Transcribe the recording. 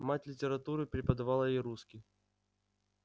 мать литературу преподавала и русский